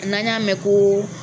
N'an y'a mɛn ko